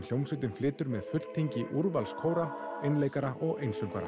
hljómsveitin flytur með fulltingi úrvals kóra einleikara og einsöngvara